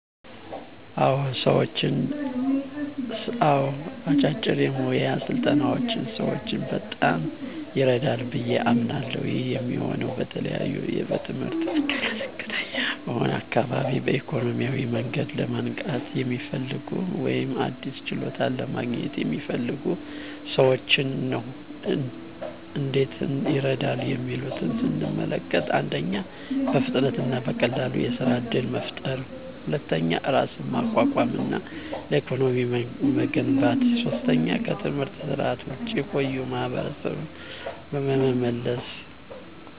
አዎ፣ አጫጭር የሞያ ስልጠናዎች ሰዎችን በጣም ይረዳሉ ብዬ አምናለሀ። ይህ የሚሆነው በተለይ በትምህርት እድል ዝቅተኛ በሆነ አካባቢ፣ በኢኮኖሚያዊ መንገድ ለማንቃት የሚፈልጉ፣ ወይም አዲስ ችሎታ ለማግኘት የሚፈልጉ ሰዎችን ነው። እንዴት ይረዳሉ የሚሉትን ስንመለከት፦ 1. በፍጥነት እና በቀላሉ የሥራ እድል መፍጠር 2. ራስን ማቋቋም እና ለኢኮኖሚ መገንባት 3. ከትምህርት ስርዓት ውጭ የቆዩ ማሀበረሰብን በመመለስ።